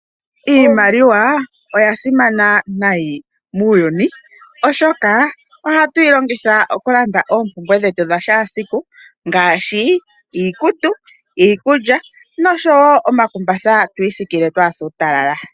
Iimaliwa oya simana unene muuyuni, oshoka ohatu yi longitha okulanda oompumbwe dhetu dha kehe siku ngaashi iikutu, iikulya noshowo omakumbatha tu isikile kaatu se uutalala.